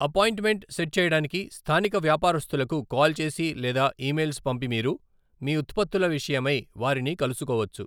Appointment set చేయడానికి స్థానిక వ్యాపారాస్థులకు కాల్ చేసి లేదా ఈమెయిల్స్ పంపిమీరు మీ ఉత్పత్తుల విషయమై వారిని కలుసుకోవచ్చు.